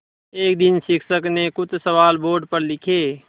एक दिन शिक्षक ने कुछ सवाल बोर्ड पर लिखे